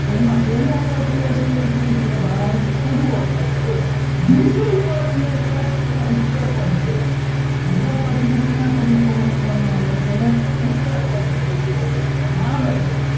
તો એમાં પહેલું પદ જે છે શું છે ભાઈ પૂર્વ પદ છે બીજું પદ ને છે એને ઉત્તર પદ કહેવામાં આવે છે બીજા પદ ને શેના તરીકે ઓળખાવમાં આવે છે ઉત્તર પદ ઓળખાવમાં આવે છે.